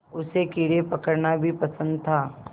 उसे कीड़े पकड़ना भी पसंद था